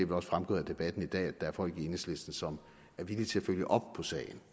også fremgået af debatten her i dag at der er folk i enhedslisten som er villige til at følge op på sagen